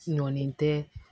Ɲɔlen tɛ